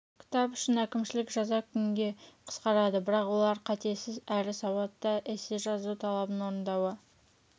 кітап үшін әкімшілік жаза күнге қысқарады бірақ олар қатесіз әрі сауатты эссе жазу талабын орындауы